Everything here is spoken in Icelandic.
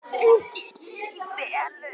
En þeir eru í felum!